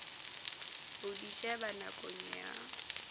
ho di sheba nakong ya